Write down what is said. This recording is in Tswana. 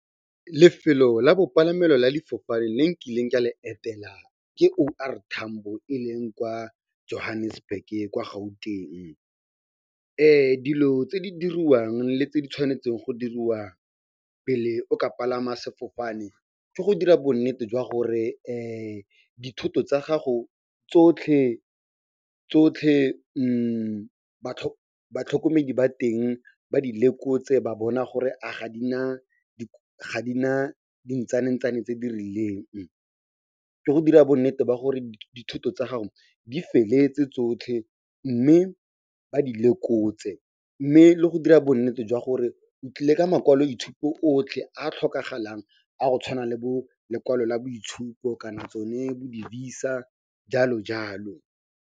Lefelo la bopalamelo la difofane le nkileng ka le etela ke O R Tambo e leng kwa Johannesburg-ke kwa Gauteng. Dilo tse di diriwang le tse di tshwanetseng go diriwa pele o ka palama sefofane ke go dira bonnete jwa gore dithoto tsa gago tsotlhe batlhokomedi ba teng ba di lekotse ba bona gore a ga di na dintsana-ntsane tse di rileng. Ke go dira bonnete ba gore dithoto tsa gago di feleletse tsotlhe, mme ba di lekotse, mme le go dira bonnete jwa gore o tlile ka makwaloitshupo otlhe a a tlhokagalang a go tshwana le bo lekwalo la boitshupo kana tsone bo di-VISA jalo-jalo.